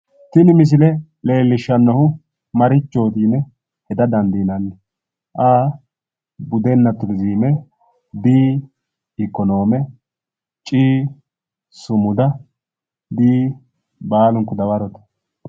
Tini misile leellishshannohu marichooti yine heda dandiinanni A.Budenna turizime B.Ikkonoome C.Sumuda D.Baalunku dawarote